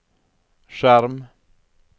skjerm